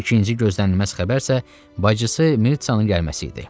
İkinci gözlənilməz xəbər isə bacısı Mitsanın gəlməsi idi.